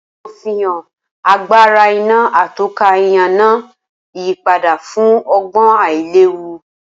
Awọn ifihan agbara iná atọ́ka ìyànà yipada fun ọgbọn ailewu.